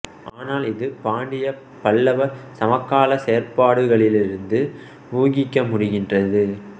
ஆனால் இது பாண்டிய பல்லவ சமகால செயற்பாடுகளிலிருந்து ஊகிக்க முடிகின்றது